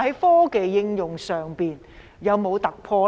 科技應用上有否突破？